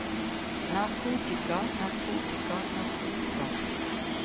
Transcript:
narkotika narkotika narkotika